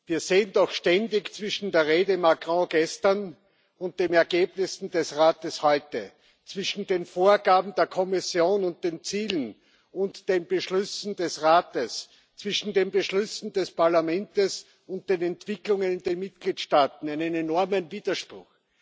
Wir sehen doch ständig zwischen der Rede Macrons gestern und den Ergebnissen des Rates heute, zwischen den Vorgaben der Kommission und den Zielen und den Beschlüssen des Rates, zwischen den Beschlüssen des Parlaments und den Entwicklungen in den Mitgliedstaaten einen enormen Widerspruch.